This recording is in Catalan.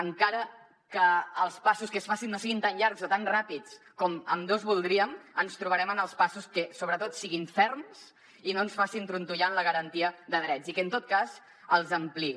encara que els passos que es facin no siguin tan llargs o tan ràpids com ambdós voldríem ens trobarem en els passos que sobretot siguin ferms i no ens facin trontollar en la garantia de drets i que en tot cas els ampliïn